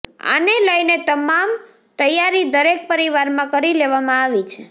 આને લઇને તમામ તૈયારી દરેક પરિવારમાં કરી લેવામાં આવી છે